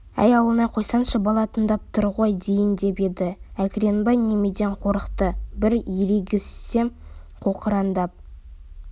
әй ауылнай қойсаңшы бала тыңдап тұр ғой дейін деп еді әкіреңбай немеден қорықты бір ерегіссе қоқыраңдап